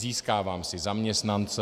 Získávám si zaměstnance.